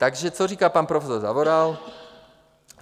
Takže co říká pan profesor Zavoral?